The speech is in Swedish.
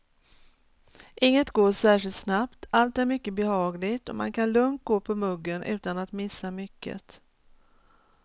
Inget går särskilt snabbt, allt är mycket behagligt och man kan lugnt gå på muggen utan att missa mycket.